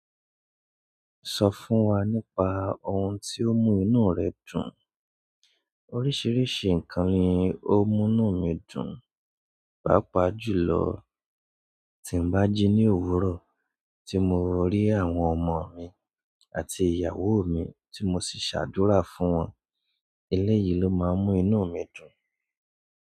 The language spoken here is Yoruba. Sọ fún wa nípa ohun tí ó mú inú rẹ dùn. Oríṣìíríṣìí ǹkan ni ó mú inú mi dùn, pàápàá jùlọ tí ń bá jí ní òwúrọ̀ tí mo rí àwọn ọmọ mi àti ìyàwó mi tí mo sì ṣàdúrà fún wọn. Elẹ́yi ló máa ń mú inú mi dùn.